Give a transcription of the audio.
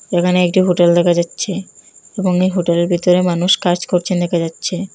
এখানে একটি হোটেল দেখা যাচ্ছে এবং এই হোটেলের ভিতরে মানুষ করছেন দেখা যাচ্ছে।